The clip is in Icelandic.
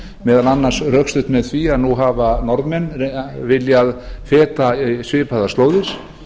meðal annars rökstutt með því að nú hafa norðmenn viljað feta svipaðar slóðir